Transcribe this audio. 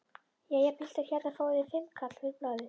Jæja piltar, hérna fáið þið fimmkall fyrir blaðið!